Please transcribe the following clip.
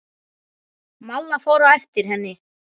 Malla fór á eftir henni.